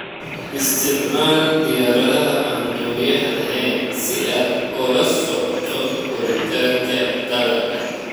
Isticmaal diyaaradaha aan duuliyaha lahayn si aad ula socoto koritaanka dalagga.